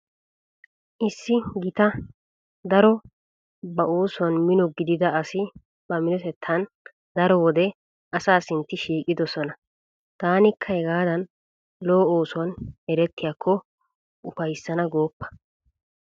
Issi gita daro ba oosuwan mino gidida asi ba minotettan daro wode asaa sinnti shiiqoosona. Taanikka hegaadan lo'o oosuwan erettiyakko ufayssana gooppa.